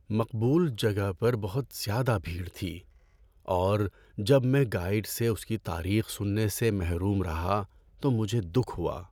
مقبول جگہ پر بہت زیادہ بھیڑ تھی، اور جب میں گائیڈ سے اس کی تاریخ سننے سے محروم رہا تو مجھے دکھ ہوا۔